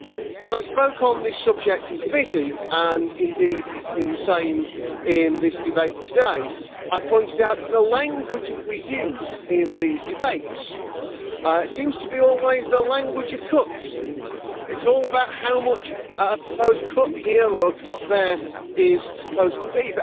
When I spoke on this subject in committee, and indeed it has been the same in this debate today, I pointed out that the language that we use in these debates seems to be always the language of cuts' it is all about how much a proposed cut here or a cut there is supposed to be.